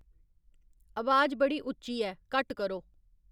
अबाज बड़ी उच्ची ऐ, घट्ट करो